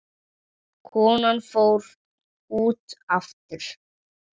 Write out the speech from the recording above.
Konan fór út aftur.